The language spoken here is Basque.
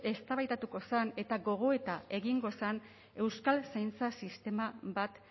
eztabaidatuko zen eta gogoeta egingo zen euskal zaintza sistema bat